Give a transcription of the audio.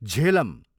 Jhelum